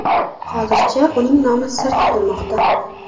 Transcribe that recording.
Hozircha uning nomi sir tutilmoqda.